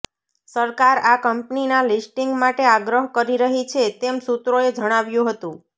સરકાર આ કંપનીના લિસ્ટિંગ માટે આગ્રહ કરી રહી છે તેમ સૂત્રોએ જણાવ્યું હતું